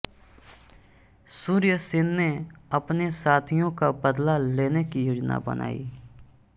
सूर्यसेन ने अपने साथियो का बदला लेने की योजना बनाई